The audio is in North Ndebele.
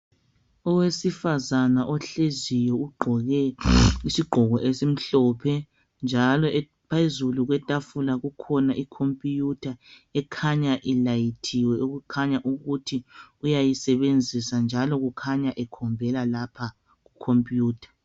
Owesifazana ohleziyo ugqoke isigqoko esimhlophe njalo phezulu kwetafula kukhona ikhompiwutha ekhanya ilayithiwe okutshengisela ukuba uyayi sebenzisa njalo kukhanya ekhombela lapha ku khompiwutha